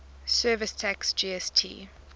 services tax gst